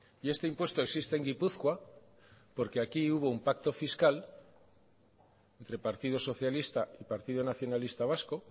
y este impuesto existe en gipuzkoa porque aquí hubo un pacto fiscal entre partido socialista y partido nacionalista vasco